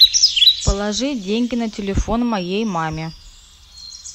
положи деньги на телефон моей маме